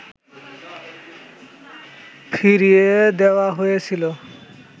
ফিরিয়ে দেওয়া হয়েছিল